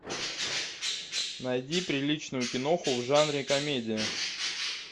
найди приличную киноху в жанре комедия